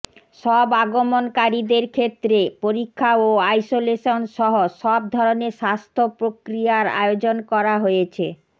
সব আগমনকারীদের ক্ষেত্রে পরীক্ষা ও আইসোলেশনসহ সব ধরনের স্বাস্থ্য প্রক্রিয়ার আয়োজন করা হয়েছে